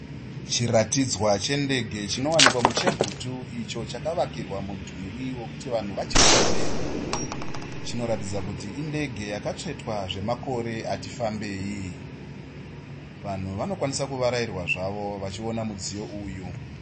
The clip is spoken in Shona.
Chiratidzwa chendege chinowanikwa muChegutu icho chakavakirwa mudhuri wokuti vanhu vachione. Chinoratidza kuti indege yakatsvetwa zvemakore ati fambei. Vanhu vanokwanisa kuvarairwa zvavo vachiona mudziyo uyu.